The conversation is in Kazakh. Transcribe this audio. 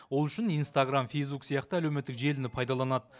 ол үшін инстаграмм фейсбук сияқты әлеуметтік желіні пайдаланады